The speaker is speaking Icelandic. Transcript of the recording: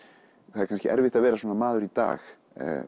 það er kannski erfitt að vera svona maður í dag